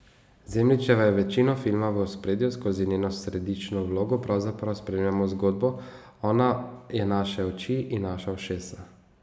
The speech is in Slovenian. Zemljičeva je večino filma v ospredju, skozi njeno središčno vlogo pravzaprav spremljamo zgodbo, ona je naše oči in naša ušesa.